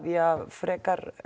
frekar